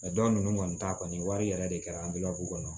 dɔw ninnu kɔni ta kɔni wari yɛrɛ de kɛra kɔnɔ